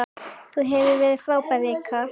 Þetta hefur verið frábær vika.